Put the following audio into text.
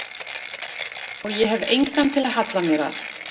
Og ég hef engan til að halla mér að.